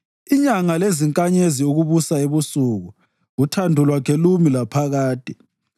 Inyanga lezinkanyezi ukubusa ebusuku, uthando lwakhe lumi laphakade.